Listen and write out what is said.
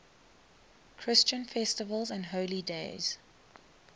christian festivals and holy days